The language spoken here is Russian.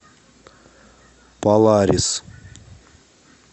поларис